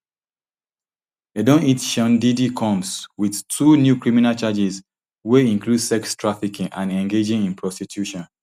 dem don hit sean diddy combs wit two new criminal charges wey include sex trafficking and engaging in prostitution